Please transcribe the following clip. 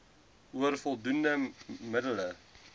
oor voldoende middele